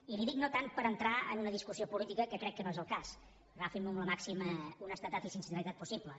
i li ho dic no tant per entrar en una discussió política que crec que no és el cas agafin m’ho amb la màxima honestedat i sinceritat possible